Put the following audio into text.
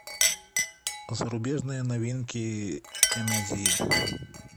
зарубежные новинки комедии